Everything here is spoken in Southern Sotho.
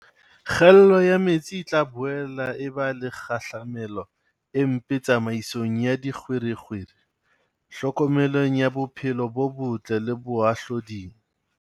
Kgaello ya metsi e tla boela e ba le kgahlamelo e mpe tsamaisong ya dikgwerekgwere, tlhokomelong ya bophelo bo botle le bohahlaoding.